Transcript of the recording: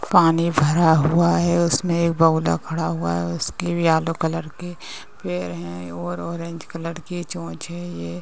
पानी भरा हुआ है। उसमें एक बगुला खड़ा हुआ है। उसके भी येलो कलर के पैर हैं और ऑरेंज कलर के चोंच है। ये --